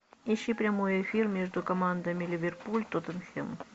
ищи прямой эфир между командами ливерпуль тоттенхэм